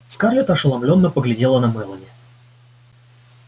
скарлетт ошеломлённо поглядела на мелани